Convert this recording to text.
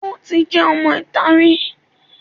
Ó ti jẹ́ ọmọ ìta rí